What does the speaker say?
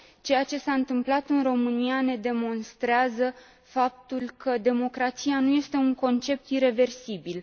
Ceea ce s a întâmplat în România ne demonstrează faptul că democrația nu este un concept ireversibil.